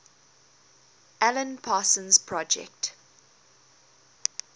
alan parsons project